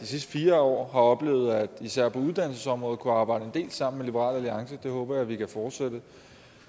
de sidste fire år har oplevet især på uddannelsesområdet at kunne arbejde en del sammen med liberal alliance det håber jeg vi kan fortsætte